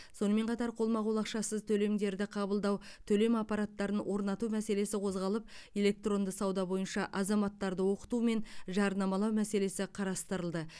сонымен қатар қолма қол ақшасыз төлемдерді қабылдау төлем аппараттарын орнату мәселесі қозғалып электронды сауда бойынша азаматтарды оқыту мен жарнамалау мәселесі қарастырылды